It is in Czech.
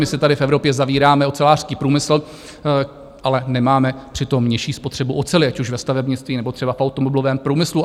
My si tady v Evropě zavíráme ocelářský průmysl, ale nemáme přitom nižší spotřebu oceli, ať už ve stavebnictví, nebo třeba v automobilovém průmyslu.